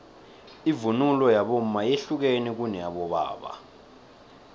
ivunulo yabomma yehlukene kuneyabobaba